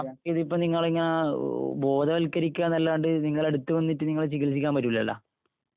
ഇതിപ്പോ നമുക്ക് നിങ്ങളെയിങ്ങനെ ബോധവൽക്കരിക്കുക എന്നല്ലാണ്ട് നിങ്ങടെ അടുത്ത് വന്നിട്ട് നിങ്ങളെ ചികിൽസിക്കാൻ പറ്റൂലല്ല.